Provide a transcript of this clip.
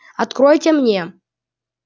откройте мне